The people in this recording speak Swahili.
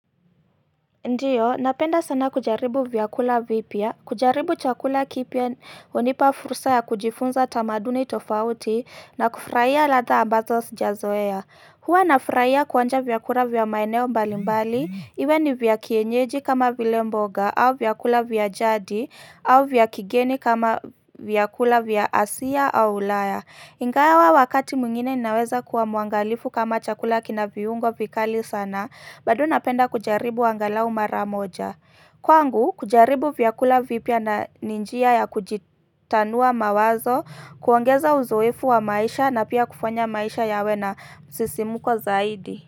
Ndio, napenda sana kujaribu vyakula vipya, kujaribu chakula kipya, hunipa fursa ya kujifunza tamaduni tofauti, na kufurahia ladha ambazo sijazoea. Huwa nafurahia kuonja vyakula vya maeneo mbali mbali, iwe ni vya kienyeji kama vile mboga, au vyakula vya jadi, au vya kigeni kama vyakula vya asia au ulaya. Ingawa wakati mwingine ninaweza kuwa mwangalifu kama chakula kina viungo vikali sana, bado napenda kujaribu angalau mara moja. Kwangu, kujaribu vyakula vipya ni njia ya kujitanua mawazo, kuongeza uzoefu wa maisha na pia kufanya maisha yawe na msisimuko zaidi.